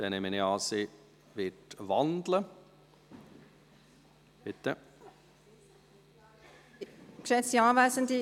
Ich nehme deshalb an, dass sie den Vorstoss wandeln wird.